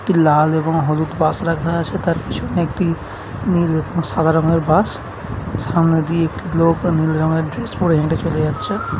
এটি লাল এবং হলুদ বাস রাখা আছে তার পিছনে একটি নীল সাদা রঙের বাস সামনের দিয়ে একটি লোক নীল রঙের ড্রেস পরে হেঁটে চলে যাচ্ছে।